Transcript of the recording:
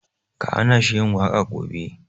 Ka hana shi yin waƙa gobe!